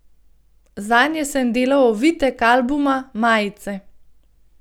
Zanje sem delal ovitek albuma, majice ...